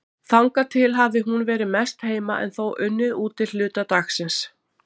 Þangað til hafði hún verið mest heima en þó unnið úti hluta dagsins.